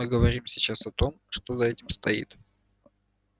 мы говорим сейчас о том что за этим стоит